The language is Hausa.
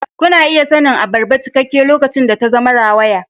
Kuna iya sanin abarba cikakke lokacin da ta zama rawaya.